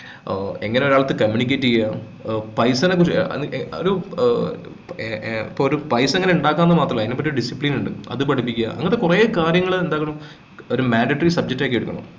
ഏർ എങ്ങനെ ഒരാൾക്ക് communicate ചെയ്യാ ഏർ പൈസനെക്കുറിച്ച് ഏർ രു ഇപ്പോ ഏർ ഏർ ഒരു പൈസ എങ്ങനെ ഉണ്ടാക്കാം എന്ന് മാത്രം അല്ല അതിനൊക്കെ ഒരു discipline ഉണ്ട് അത് പഠിപ്പിക്കാ അങ്ങനത്തെ കൊറേ കാര്യങ്ങൾ എന്തായാലും madatory subject ആക്കി എടുക്കണം